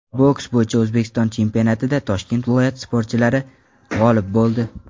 Boks bo‘yicha O‘zbekiston chempionatida Toshkent viloyati sportchilari g‘olib bo‘ldi.